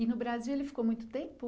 E no Brasil ele ficou muito tempo?